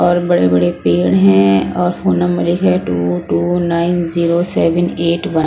और बड़े-बड़े पेड़ हैं और फोन नंबर लिखा है two two nine zero seven eight one --